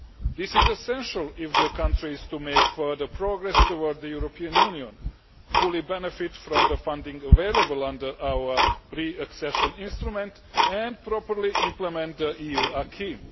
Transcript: This is essential if the country is to make further progress towards the European Union, fully benefit from the funding available under our pre-accession instrument and properly implement the EU acquis.